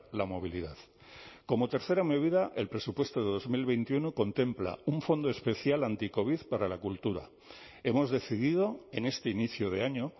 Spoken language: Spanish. la movilidad como tercera medida el presupuesto de dos mil veintiuno contempla un fondo especial anticovid para la cultura hemos decidido en este inicio de año